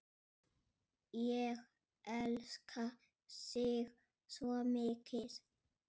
Ég elska þig svo mikið.